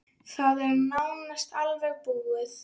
Það er nánast alveg búið.